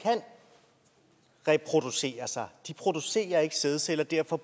reproducere sig de producerer ikke sædceller og derfor